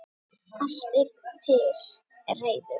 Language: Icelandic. Allt er til reiðu.